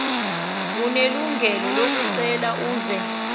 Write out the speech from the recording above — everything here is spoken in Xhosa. unelungelo lokucela aze